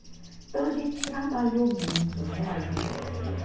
Então, a gente trabalhou muito, né, as greves.